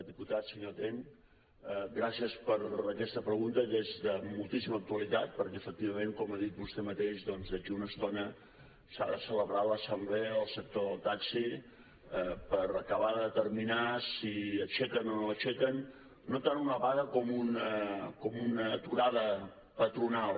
diputat senyor ten gràcies per aquesta pregunta que és de moltíssima actualitat perquè efectivament com ha dit vostè mateix doncs d’aquí a una estona s’ha de celebrar l’assemblea del sector del taxi per acabar de determinar si aixequen o no aixequen no tant una vaga com una aturada patronal